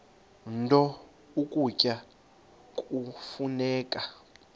nto ukutya kufuneka